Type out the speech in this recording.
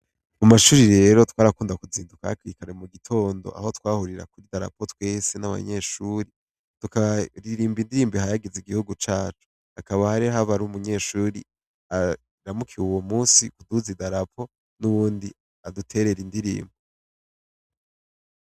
Amashure rero twarakunda kuzinduka hakiri kare mugitondo aho twahurira kw'idarapo tukaririmba inririmbo ihayagiza igihugu cacu. Hakaba hariho umunyeshure aramukiwe uwo musi kutudugiriza idarapo n'uwundi aduterera indirimbo.